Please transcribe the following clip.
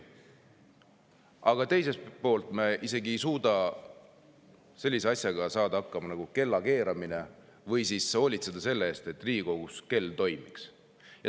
Aga teiselt poolt me ei saa hakkama isegi sellise asjaga nagu kellakeeramine või ei suuda hoolitseda selle eest, et Riigikogus kell toimiks.